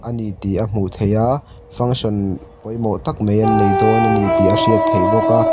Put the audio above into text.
a ni tih a hmuh theih a function pawimawh tak mai an nei dawn a ni tih a hriat theih bawk a.